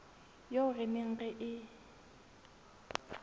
eo re neng re e